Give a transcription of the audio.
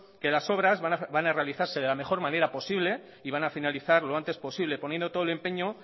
que las obras van a realizarse de la mejor manera posible y van a finalizar lo antes posible poniendo todo el empeño